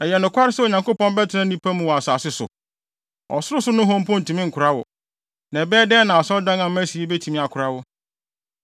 “Ɛyɛ nokware sɛ Onyankopɔn bɛtena nnipa mu wɔ asase so? Ɔsorosoro nohɔ mpo ntumi nkora wo, na ɛbɛyɛ dɛn na Asɔredan a masi yi betumi akora wo.